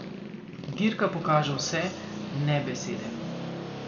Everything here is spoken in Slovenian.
Dirka pokaže vse, ne besede.